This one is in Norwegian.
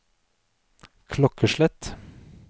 klokkeslett